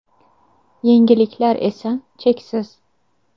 Yengilliklar esa, cheksiz.